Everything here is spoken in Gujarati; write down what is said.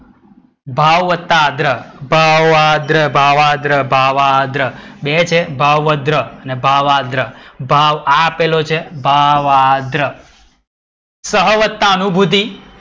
ભાવ વત્તા આગ્રહ. ભાવગ્રહ ભાવાદ્ર, બે છે ભાવાદ્ર, ભાવાદ્ર ભાવ આ આપેલો છે. ભાવાદ્ર. સહ વત્તા અનુભૂતિ.